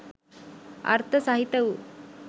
අර්ථ සහිත වූ